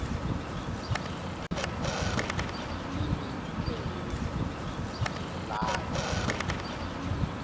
imi thetho yelali